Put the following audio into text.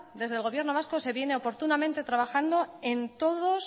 desde el gobierno vasco se viene oportunamente trabajando en todos